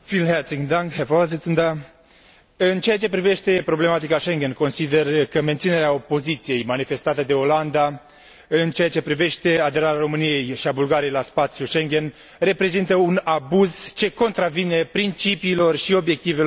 În ceea ce privește problematica Schengen, consider că menținerea opoziției manifestată de Olanda în ceea ce privește aderarea României și a Bulgariei la spațiul Schengen reprezintă un abuz ce contravine principiilor și obiectivelor pe termen lung ale Uniunii Europene.